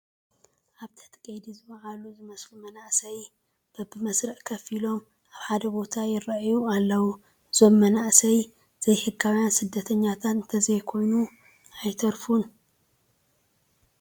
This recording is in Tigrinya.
ኣብ ትሕቲ ቀይዲ ዝወዓሉ ዝመስሉ መናእሰይ በብመስርዕ ኮፍ ኢሎም ኣብ ሓደ ቦታ ይርአዩ ኣለዉ፡፡ እዞም መንናእሰይ ዘይሕጋውያን ስደተኛታት እንተይኮኑ ኣይተርፉን፡፡